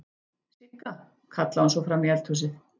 Sigga!, kallaði hún svo fram í eldhúsið.